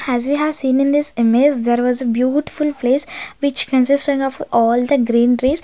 has we have seen in this image there was a beautiful place which consisting of all the green tress.